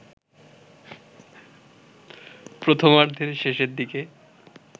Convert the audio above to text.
প্রথমার্ধের শেষের দিকে